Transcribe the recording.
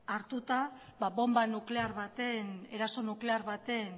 hartuta bonba nuklear baten eraso nuklear baten